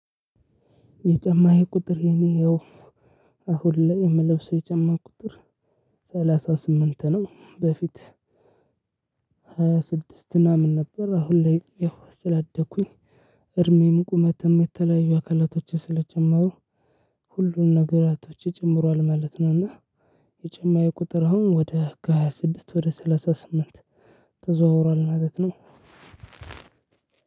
የጨማዬ ቁጥር የኔ ያው አሁን ላይ የምለብሰው የጫማ ቁጥር ሰላሳ ስምንት ነው። በፊት ሃያ ስድስት እና ምን ነበር? አሁን ላይ ያው ስላደኩኝ እድሜም ቁመትም የተለያዩ አካላቶችን ስለጨመሩ ሁሉን ነገራቶቼ ጭምሯል ማለት ነው። እና የጫማዬ ቁጥር አሁን ወደ ከሃያ ስድስት ወደ ሰላሳ ስምንት ተዘዋውሯል ማለት ነው።